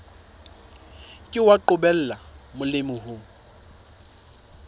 ke wa qobella molemi ho